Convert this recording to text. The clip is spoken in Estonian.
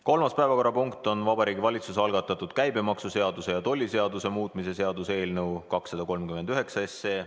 Kolmas päevakorrapunkt on Vabariigi Valitsuse algatatud käibemaksuseaduse ja tolliseaduse muutmise seaduse eelnõu 239 kolmas lugemine.